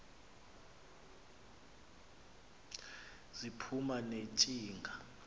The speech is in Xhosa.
ziphuma ne ntshinga